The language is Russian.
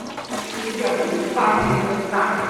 у тебя будет банды индостана